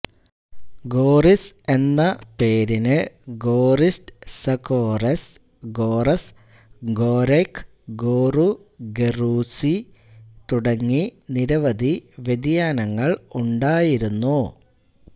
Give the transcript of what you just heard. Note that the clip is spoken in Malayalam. ഗോറിസ് എന്ന പേരിന് ഗോറിസ്റ്റ്സ കോറെസ് ഗോറസ് ഗൊരൈക് ഗോറു ഗെറ്യൂസി തുടങ്ങി നിരവധി വ്യതിയാനങ്ങൾ ഉണ്ടായിരുന്നു